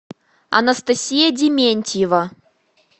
анастасия дементьева